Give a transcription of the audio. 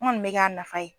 N kɔni bɛ k'a nafa ye